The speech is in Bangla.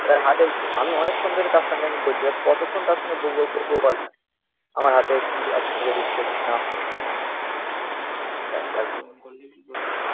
এবার হাতে। আমি অনেকক্ষণ ধরে তার সঙ্গে আমি বলছি। এবার কতক্ষণ তার সঙ্গে ভৌ ভৌ ভৌ ভৌ করব। আমার হাতে আরকি গুঁজে দিচ্ছে। তুমি নাও নাও নাও